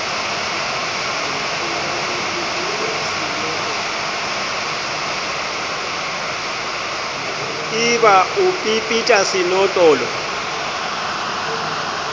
e ba o pepeta senotlolo